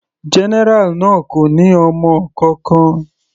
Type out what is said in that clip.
General náà kò ní ọmọ kankan.